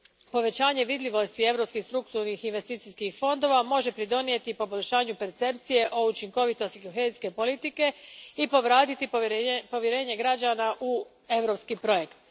Povećanje vidljivosti europskih strukturnih investicijskih fondova može pridonijeti poboljšanju percepcije o učinkovitosti kohezijske politike i povratiti povjerenje građana u europski projekt.